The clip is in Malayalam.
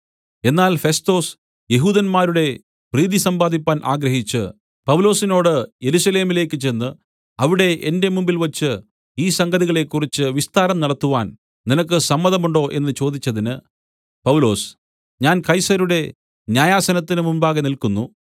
എന്നാൽ ഫെസ്തൊസ് യെഹൂദന്മാരുടെ പ്രീതി സമ്പാദിപ്പാൻ ആഗ്രഹിച്ച് പൗലൊസിനോട് യെരൂശലേമിലേക്ക് ചെന്ന് അവിടെ എന്റെ മുമ്പിൽവച്ച് ഈ സംഗതികളെക്കുറിച്ച് വിസ്താരം നടത്തുവാൻ നിനക്ക് സമ്മതമുണ്ടോ എന്നു ചോദിച്ചതിന് പൗലൊസ് ഞാൻ കൈസരുടെ ന്യായാസനത്തിന് മുമ്പാകെ നില്ക്കുന്നു